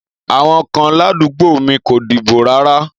Àwon kan ládùgbómìi ko dìbò rárá